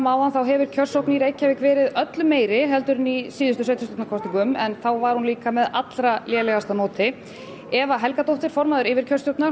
áðan þá hefur kjörsókn verið öllu meiri en í síðustu sveitarstjórnarkosningum enda var hún þá með lélegasta móti Eva Helgadóttir formaður yfirkjörstjórnar